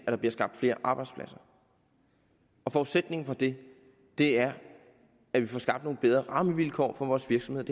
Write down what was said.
der bliver skabt flere arbejdspladser og forudsætningen for det er at vi får skabt nogle bedre rammevilkår for vores virksomheder